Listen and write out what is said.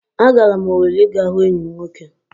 Agara m Owere ịga hụ enyi m nwoke